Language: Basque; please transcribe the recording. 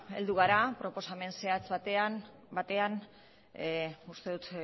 heldu gara proposamen zehatz batean uste dut